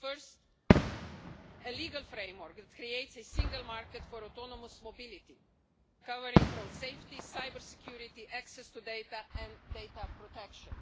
First, a legal framework that creates a single market for autonomous mobility covering road safety, cyber security, access to data and data protection.